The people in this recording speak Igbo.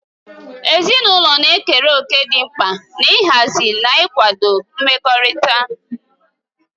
Ezinụlọ na-ekere òkè dị mkpa n'ịhazi na ịkwado mmekọrịta.